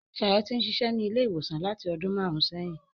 Ṣayọ̀ ti ń ṣiṣẹ́ ní ilé ìwòsàn láti ọdún màrùn-ún sẹ́yìn.